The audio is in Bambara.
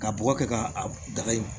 Ka bɔgɔ kɛ k'a a dagayi